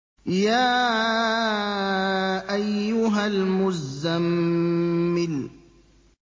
يَا أَيُّهَا الْمُزَّمِّلُ